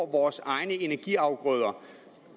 vores egne energiafgrøder